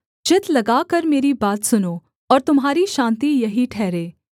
चित्त लगाकर मेरी बात सुनो और तुम्हारी शान्ति यही ठहरे